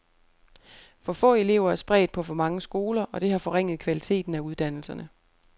For få elever er spredt på for mange skoler, og det har forringet kvaliteten af uddannelserne.